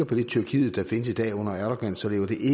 det tyrkiet der findes i dag under erdogan